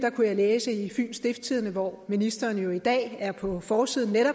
læse i fyens stiftstidende hvor ministeren jo netop i dag er på forsiden med